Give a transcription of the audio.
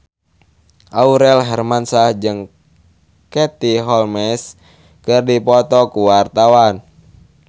Aurel Hermansyah jeung Katie Holmes keur dipoto ku wartawan